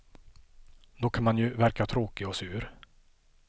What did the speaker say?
Då kan man ju verka tråkig och sur.